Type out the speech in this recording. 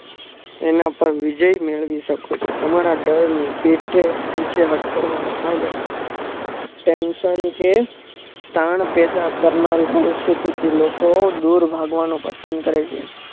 એના પર વિજય મેળવી શકો છો તમારા ડરને પીઠઠે પીછે હટકર વાલા ફાયદા tension કે ટાણ પેદા કરના રે ભવિષ્ય કે લોકો દુર ભાગવાનો પ્રયાસ પસંદ કરે છે